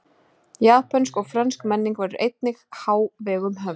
Japönsk og frönsk menning verður einnig í hávegum höfð.